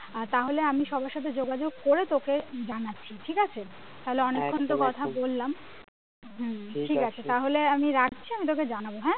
আর তাহলে আমি সবার সাথে যোগাযোগ করে তোকে জানাচ্ছি ঠিকাছে তাহলে অনেকক্ষণ তো কথা বললাম হম ঠিকাছে তাহলে আমি রাখছি আমি তোকে জানাবো হ্যাঁ?